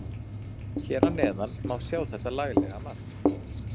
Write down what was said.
Hér að neðan má sjá þetta laglega mark.